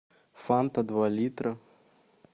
фанта два литра